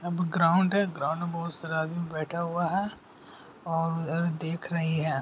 मैदान है जहाँ बहुत सारे आदमी बैठा हुआ है और उधर देख रहे हैं|